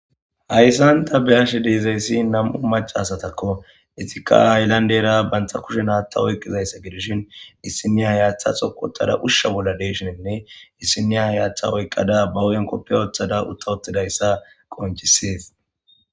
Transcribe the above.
Hayssanta beashe deezayssi nam7u macasatakko etika aylandera bantha kushen haata oyqqizayssa gidishin issiniya hayaththasokottada ushsha bolla deshininne issiniya hayaththa oyqqada ba uyenkoppe ooththada utta ottidayssa qonchisees.